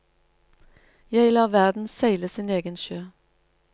Jeg lar verden seile sin egen sjø.